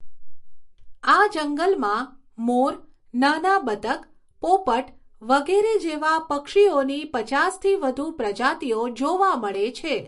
આ જંગલમાં મોર, નાના બતક, પોપટ વગેરે જેવા પક્ષીઓની પચાસથી વધુ પ્રજાતિઓ જોવા મળે છે.